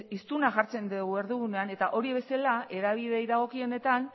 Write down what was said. hiztuna jartzen dugu erdigunean eta hori bezala hedabideei dagokionetan